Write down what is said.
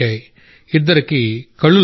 ఇద్దరికి కళ్ళు లభించాయి